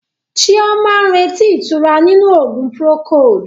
Chioma ń retí ìtura nínú oògùn Procold.